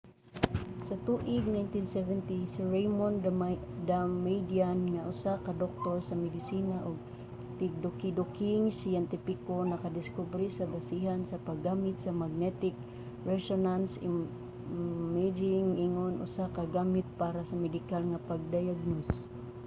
sa tuig 1970 si raymond damadian nga usa ka doktor sa medisina ug tigdukiduking siyentipiko nakadiskubre sa basihanan sa pag-gamit sa magnetic resonance imaging ingon usa ka gamit para sa medikal nga pagdayagnos